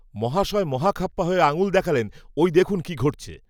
মহাশয় মহাখাপ্পা হয়ে আঙুল দেখালেন ওই দেখুন কি ঘটছে